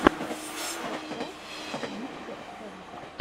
подкаст мистер эг